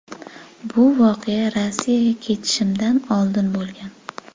Bu voqea Rossiyaga ketishimdan oldin bo‘lgan.